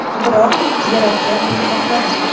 Biroq yaratgan buni xohlamadi.